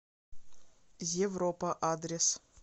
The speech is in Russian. европа адрес